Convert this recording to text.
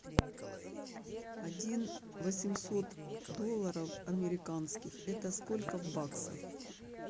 один восемьсот долларов американских это сколько в баксах